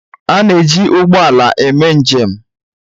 A na-eji ụgbọ ala eme njem.